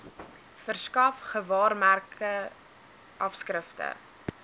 verskaf gewaarmerke afskrifte